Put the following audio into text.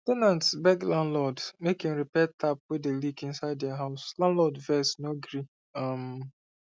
ten nants beg landlord make him repair tap wey dey leak inside their house landlord vex no gree um